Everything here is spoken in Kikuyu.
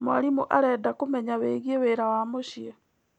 Mwarimũ arenda kũmenya wĩgiĩ wĩra wa mũciĩ.